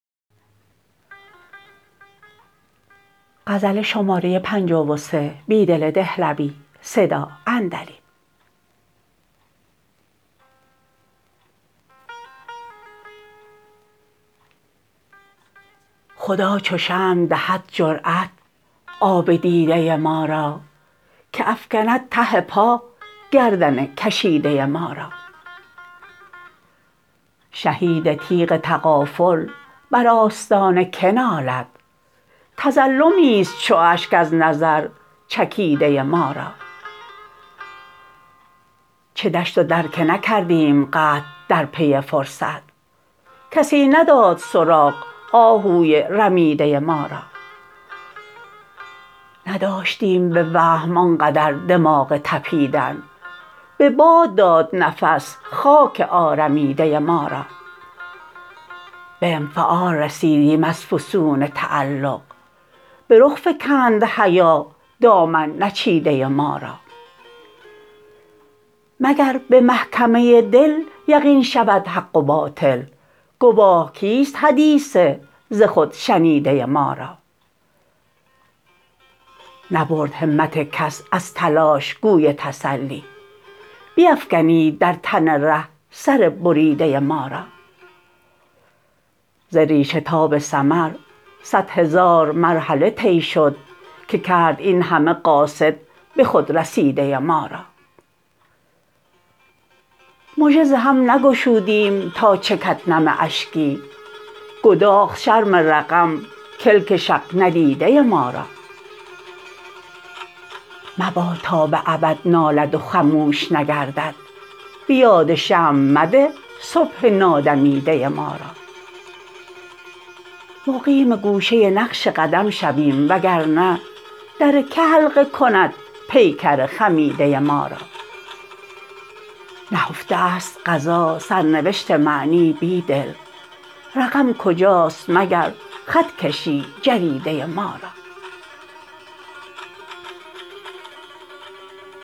خدا چو شمع دهد جرأت آب دیده ما را که افکند ته پاگردن کشیده ما را شهید تیغ تغافل بر آستان که نالد تظلمی ست چو اشک از نظر چکیده ما را چه دشت و در که نکردیم قطع درپی فرصت کسی نداد سراغ آهوی رمیده ما را نداشتیم به وهم آنقدر دماغ تپیدن به باد داد نفس خاک آرمیده ما را به انفعال رسیدیم از فسون تعلق به رخ فکند حیا دامن نچیده ما را مگر به محکمه دل یقین شود حق و باطل گواه کیست حدیث ز خود شنیده ما را نبرد همت کس از تلاش گوی تسلی بیفکنید در تن ره سر بریده ما را ز ریشه تا به ثمر صد هزار مرحله طی شد که کرد این همه قاصد به خود رسیده ما را مژه ز هم نگشودیم تا چکد نم اشکی گداخت شرم رقم کلک شق ندیده ما را مباد تا به ابد نالد و خموش نگردد به یاد شمع مده صبح نادمیده ما را مقیم گوشه نقش قدم شویم وگرنه درکه حلقه کند پیکر خمیده ما را نهفته است قضا سرنوشت معنی بیدل رقم کجاست مگر خط کشی جریده ما را